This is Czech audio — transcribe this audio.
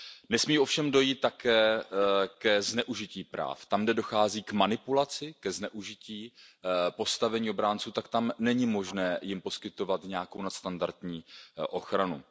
Nesmí ovšem dojít také ke zneužití práv, tam, kde dochází k manipulaci, ke zneužití postavení obránců, tak tam není možné jim poskytovat nějakou nadstandardní ochranu.